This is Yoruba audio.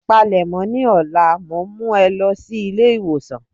Palèmọ́, ní ọlá mọ ń mú ẹ lọ sí ilé ìwòsàn.